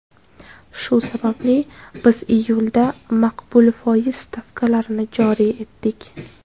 Shu sababli biz iyulda maqbul foiz stavkalarini joriy etdik.